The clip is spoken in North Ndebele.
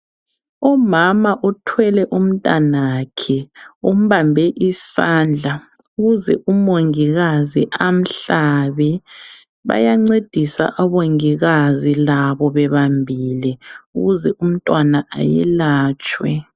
Umama uthwele umntwana wakhe umbambe isandla ukuze umongikazi amhlabe bayancedisa omongikazi labo bebambile ukuze umntwana ayelatshwe